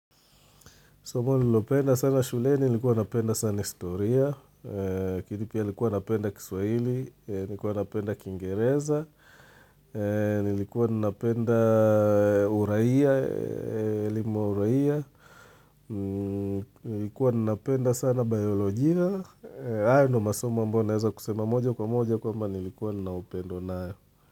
Somo nililopenda sana shuleni, nilikuwa napenda sana historia, lakini pia nilikuwa napenda kiswahili, nilikuwa napenda kiingereza, nilikuwa napenda uraia, lima uraia, nilikuwa napenda sana biolojia. Ayo ndo masomo ambayo naeza sema moja kwa moja kwamba nilikuwa naniopendwa nayo.